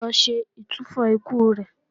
Lọ ṣe ìtúfọ̀ ikú rẹ̀!